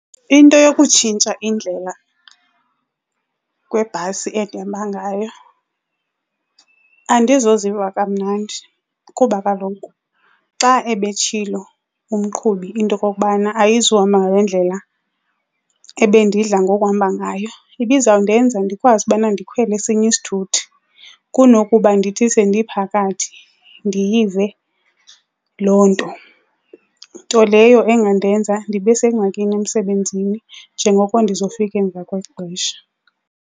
Into yokutshintsha indlela kwebhasi endihamba ngayo andizoziva kamnandi. Kuba kaloku xa ebetshilo umqhubi into okokubana ayizuhamba ngale ndlela ebendidla ngokuhamba ngayo, ibizawundenza ndikwazi ubana ndikhwele esinye isithuthi kunokuba ndithi sendiphakathi ndiyive loo nto. Nto leyo engandenza ndibe sengxakini emsebenzini njengoko ndizofika emva kwexesha.